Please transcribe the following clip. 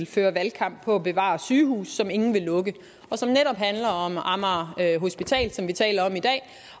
fører valgkamp på at bevare et sygehus som ingen vil lukke det handler netop om amager hospital som vi taler om i dag